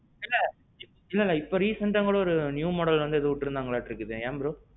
இல்ல. இல்ல இல்ல, இப்போ recentஅ கூட ஒரு புது மாடல் உற்றுக்கங்களாட்டு ஏன் bro?